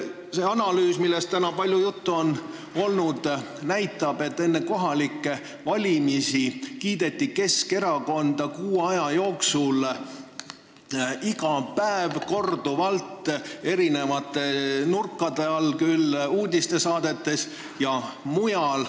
See analüüs, millest on täna palju juttu olnud, näitab, et enne kohalikke valimisi kiideti Keskerakonda kuu aja jooksul iga päev korduvalt eri nurkade alt, küll uudistesaadetes ja mujal.